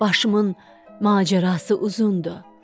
Başımın macərası uzundur.